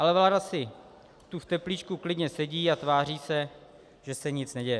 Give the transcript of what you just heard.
Ale vláda si tu v teplíčku klidně sedí a tváří se, že se nic neděje.